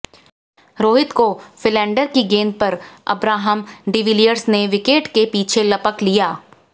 रोहित को फिलेंडर की गेंद पर अब्राहम डिविलियर्स ने विकेट के पीछे लपक लिया